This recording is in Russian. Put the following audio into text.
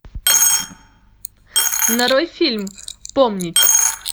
нарой фильм помнить